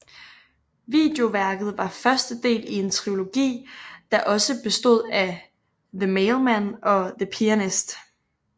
Videoværket var første del i en trilogi der også bestod af The Mailman og The Pianist